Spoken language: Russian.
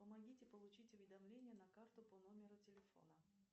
помогите получить уведомление на карту по номеру телефона